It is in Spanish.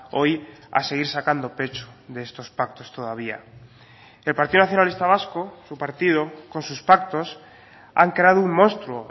hoy a seguir sacando pecho de estos pactos todavía el partido nacionalista vasco su partido con sus pactos han creado un monstruo